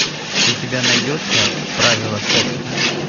у тебя найдется правила секса